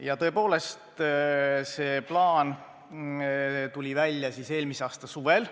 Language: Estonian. Ja tõepoolest, see plaan tuli välja eelmise aasta suvel.